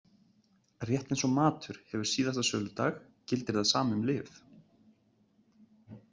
Rétt eins og matur hefur síðasta söludag gildir það sama um lyf.